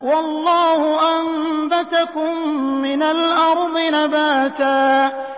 وَاللَّهُ أَنبَتَكُم مِّنَ الْأَرْضِ نَبَاتًا